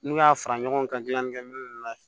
N'u y'a fara ɲɔgɔn kan gilanni kɛ minɛn la